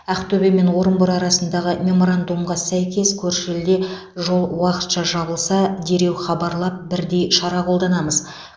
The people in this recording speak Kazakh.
ақтөбе мен орынбор арасындағы меморандумға сәйкес көрші елде жол уақытша жабылса дереу хабарлап бірдей шара қолданамыз